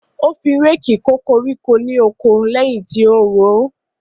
Ó fi réèkì kó koríko lóko lẹ́yìn tí ó ro ó.